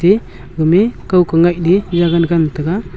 eh gami kaoku ngaile yagan ngantega.